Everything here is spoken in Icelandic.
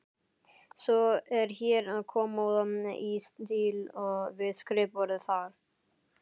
Svo er hér kommóða í stíl við skrifborðið þar.